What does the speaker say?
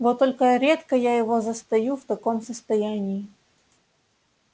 вот только редко я его застаю в таком состоянии